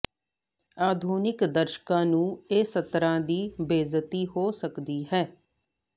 ਆਧੁਨਿਕ ਦਰਸ਼ਕਾਂ ਨੂੰ ਇਹ ਸਤਰਾਂ ਦੀ ਬੇਇੱਜ਼ਤੀ ਹੋ ਸਕਦੀ ਹੈ